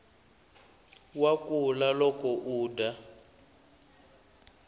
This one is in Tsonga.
wa kula loko udya